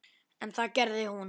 En það gerði hún.